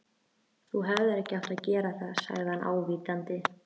Þú hefðir ekki átt að gera það sagði hann ávítandi.